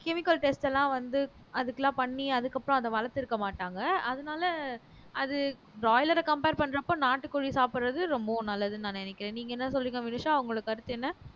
chemical test எல்லாம் வந்து அதுக்கெல்லாம் பண்ணி அதுக்கப்புறம் அத வளர்த்திருக்க மாட்டாங்க அதனால அது பிராய்லர compare பண்றப்ப நாட்டுக்கோழி சாப்பிடுறது ரொம்பவும் நல்லதுன்னு நான் நினைக்கிறேன் நீங்க என்ன சொல்றீங்க வினுஷா உங்களோட கருத்து என்ன